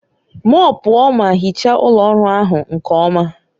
Mọọpụọ ma hichaa ụlọ ọrụ ahụ nke ọma